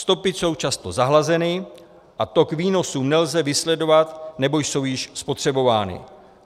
Stopy jsou často zahlazeny a tok výnosů nelze vysledovat nebo jsou již spotřebovány.